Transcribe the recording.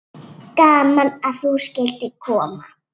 Gaman að þú skyldir koma.